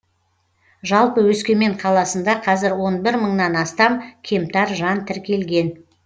жалпы өскемен қаласында қазір он бір мыңнан астам кемтар жан тіркелген